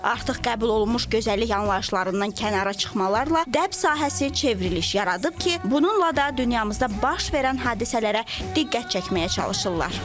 Artıq qəbul olunmuş gözəllik anlayışlarından kənara çıxmalarla dəb sahəsi çevriliş yaradıb ki, bununla da dünyamızda baş verən hadisələrə diqqət çəkməyə çalışırlar.